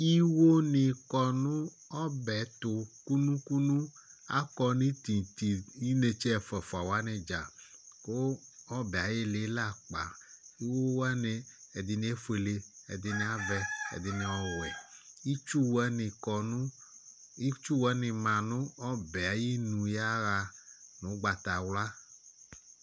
Iwonɩ kɔ nʋ ɔbɛ tʋ kunu-kunu Akɔ nʋ titi inetse ɛfʋa-fʋa wanɩ dza kʋ ɔbɛ yɛ ayʋ ɩɩlɩ lɛ akpa Iwo wanɩ, ɛdɩnɩ efuele, ɛdɩnɩ avɛ, ɛdɩnɩ ɔwɛ Itsu wanɩ kɔ nʋ, itsu wanɩ manʋ ɔbɛ yɛ ayinu yaɣa nʋ ʋgbatawla